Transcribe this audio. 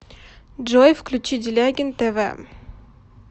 джой включи делягин тэ вэ